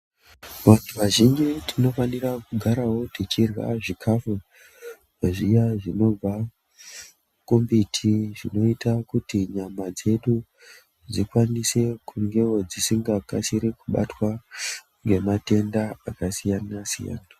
Vantu vazhinji tinofanira kugaravo tichirya zvikafu zviya zvinobva kumbiti. Zvinoita kuti nyama dzedu dzikwanise kungevo dzisingakasiri kubatwa ngematenda akasiyana-siyana.